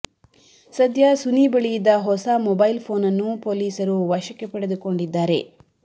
ಸದ್ಯ ಸುನಿ ಬಳಿ ಇದ್ದ ಹೊಸ ಮೊಬೈಲ್ ಫೋನನ್ನು ಪೊಲೀಸರು ವಶಕ್ಕೆ ಪಡೆದುಕೊಂಡಿದ್ದಾರೆ